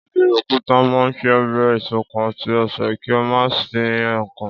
Ọbẹ̀ òkúta máa ń ṣe ayẹyẹ ìṣọ̀kan àti àṣà kí a máa pín nkan